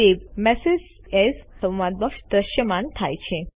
save message as સંવાદ box દ્રશ્યમાન થાય છે